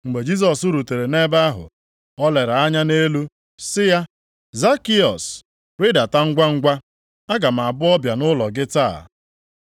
Mgbe Jisọs rutere nʼebe ahụ, o lere anya nʼelu sị ya, “Zakịọs, rịdata ngwangwa. Aga m abụ ọbịa nʼụlọ gị taa.”